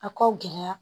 A ko gɛlɛya